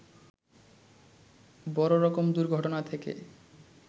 বড় রকম দুর্ঘটনা থেকে